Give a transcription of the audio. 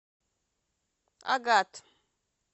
агат